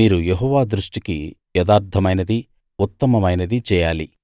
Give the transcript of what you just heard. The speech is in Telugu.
మీరు యెహోవా దృష్టికి యథార్థమైనదీ ఉత్తమమైనదీ చేయాలి